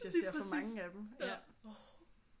Altså hvis jeg ser for mange af dem